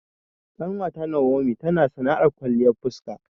Ƙanwata Nawomi tana sana'ar kwalliyar fuska